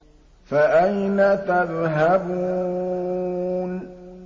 فَأَيْنَ تَذْهَبُونَ